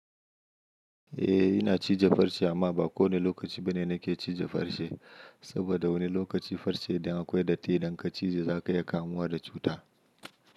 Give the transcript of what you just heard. Eh ina cije farce amma ba kowane lokaci bane nake cije farce. Saboda wani lokaci farce idan akwai datti idan ka cije za ka iya kamuwa da cuta.